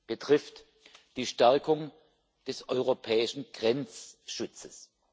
betrifft die Stärkung des europäischen Grenzschutzes.